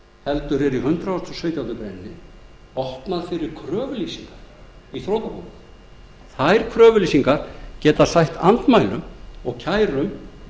heldur er í hundrað og sautjándu grein opnað fyrir kröfulýsingar í þrotabú þær kröfulýsingar geta sætt andmælum og kærum